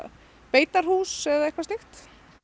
beitarhús eða eitthvað slíkt